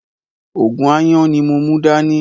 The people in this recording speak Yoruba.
Ògùn aáyán ní mò mú dá ní